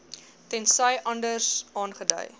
tensy anders aangedui